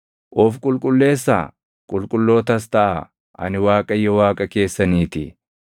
“ ‘Of qulqulleessaa; qulqullootas taʼaa; ani Waaqayyo Waaqa keessaniitii.